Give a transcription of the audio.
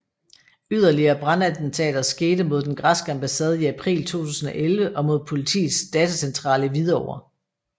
Yderligere brandattentater skete mod den græske ambassade i april 2011 og mod politiets datacentral i Hvidovre